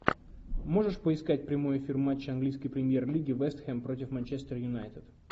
можешь поискать прямой эфир матча английской премьер лиги вест хэм против манчестер юнайтед